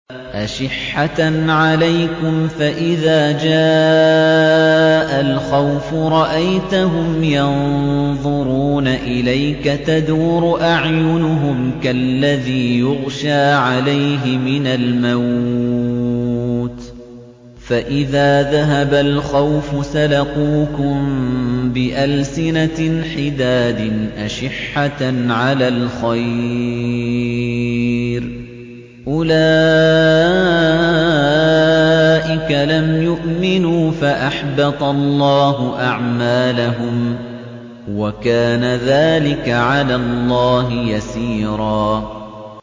أَشِحَّةً عَلَيْكُمْ ۖ فَإِذَا جَاءَ الْخَوْفُ رَأَيْتَهُمْ يَنظُرُونَ إِلَيْكَ تَدُورُ أَعْيُنُهُمْ كَالَّذِي يُغْشَىٰ عَلَيْهِ مِنَ الْمَوْتِ ۖ فَإِذَا ذَهَبَ الْخَوْفُ سَلَقُوكُم بِأَلْسِنَةٍ حِدَادٍ أَشِحَّةً عَلَى الْخَيْرِ ۚ أُولَٰئِكَ لَمْ يُؤْمِنُوا فَأَحْبَطَ اللَّهُ أَعْمَالَهُمْ ۚ وَكَانَ ذَٰلِكَ عَلَى اللَّهِ يَسِيرًا